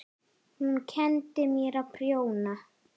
Hún kenndi mér að prjóna.